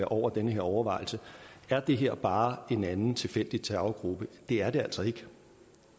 over den overvejelse at det her bare er en anden tilfældig terrorgruppe det er det altså ikke